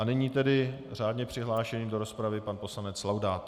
A nyní tedy řádně přihlášený do rozpravy pan poslanec Laudát.